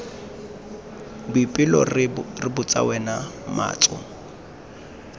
boipelo re botsa wena matso